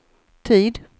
tid